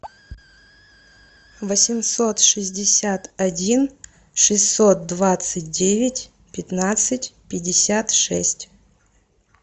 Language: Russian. восемьсот шестьдесят один шестьсот двадцать девять пятнадцать пятьдесят шесть